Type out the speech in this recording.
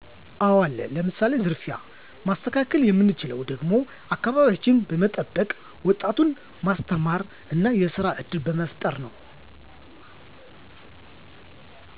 አወ አለ ለምሳሌ፦ ዝርፊያ ማስተካከል የምንችለውም ደግሞ አከባቢያችን በመጠበቅ ወጣቱን ማስተማር እና የስራ እድል በመፍጠር ነው